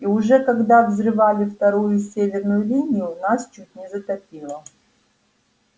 и уже когда взрывали вторую северную линию нас чуть не затопило